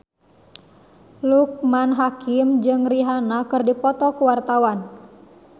Loekman Hakim jeung Rihanna keur dipoto ku wartawan